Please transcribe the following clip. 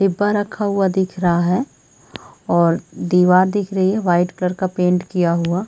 डिब्बा रखा हुआ दिख रहा है और दीवार दिख रही है व्हाइट कलर का पेंट किया हुआ--